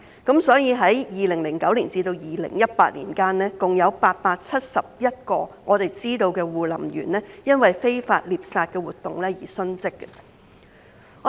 據悉，在2009年至2018年間，共有871位護林員因非法獵殺活動而殉職。